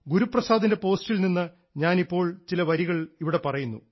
ഗുരുപ്രസാദിൻറെ പോസ്റ്റിൽ നിന്ന് ഞാനിപ്പോൾ ചില വരികൾ ഇവിടെ പറയുന്നു